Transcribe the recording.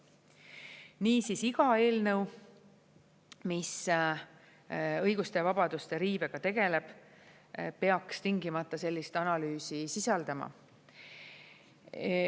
Niisiis, iga eelnõu, mis õiguste ja vabaduste riivega tegeleb, peaks tingimata sellist analüüsi sisaldama.